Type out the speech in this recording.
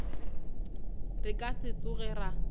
re ka se tsoge ra